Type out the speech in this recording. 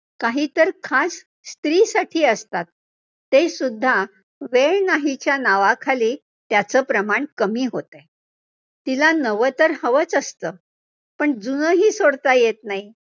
काहीतर खास स्त्रीसाठी असतात, ते सुद्धा वेळ नाहीच्या नावाखाली त्याचं प्रमाण कमी होतं आहे, तिला नवं तर हवचं असतं, पण जुनं ही सोडता येतं नाही.